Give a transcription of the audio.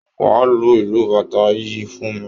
Wá lu ìlù Bàtá yìí fún mi!